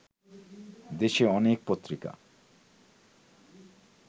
দেশে অনেক পত্রিকা